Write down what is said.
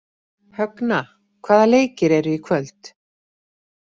Högna, hvaða leikir eru í kvöld?